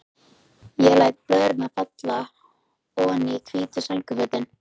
Ég læt blöðrurnar falla oní hvít sængurfötin.